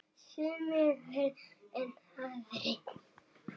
Sumir verri en aðrir.